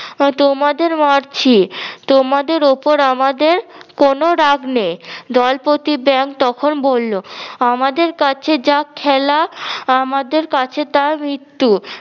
তোমাদের মারছি তোমাদের ওপর আমাদের কোনো রাগ নেই দলপ্রতি ব্যাঙ তখন বললো আমাদের কাছে যা খেলা আমাদের কাছে তা মৃত্যু